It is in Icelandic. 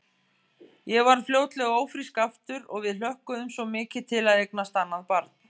Ég varð fljótlega ófrísk aftur og við hlökkuðum svo mikið til að eignast annað barn.